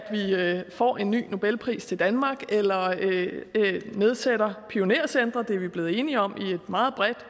vi får en ny nobelpris til danmark eller nedsætter pionercentre det er vi blevet enige om i et meget bredt